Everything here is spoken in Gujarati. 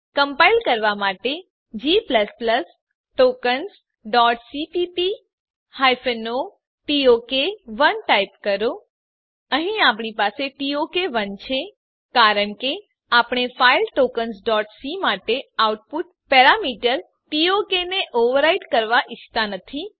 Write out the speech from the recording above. કમ્પાઈલ કરવાં માટે જી tokensસીપીપી ઓ ટોક 1 ટાઈપ કરો અહીં આપણી પાસે ટોક1 છે કારણ કે આપણે ફાઈલ tokensસી માટે આઉટપુટ પેરામીટર ટોક ને ઓવરરાઈટ કરવાં ઈચ્છતા નથી